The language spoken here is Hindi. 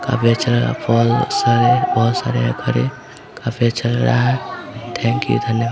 काफी अच्छा लग रहा है है बहुत सारे घर है बहुत अच्छा लग रहा है थेंक यू धन्यवाद।